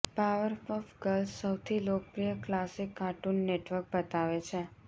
Powerpuff Girls સૌથી લોકપ્રિય classic Cartoon Network બતાવે છે